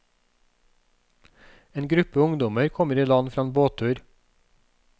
En gruppe ungdommer kommer i land fra en båttur.